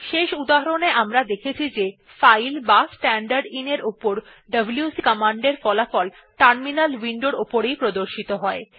শেষ উদাহরণ এ আমরা দেখেছি যে ফাইল বা স্ট্যান্ডারদিন উপর ডব্লিউসি কমান্ডের ফলাফল টার্মিনাল উইন্ডোর এ প্রদর্শিত হয়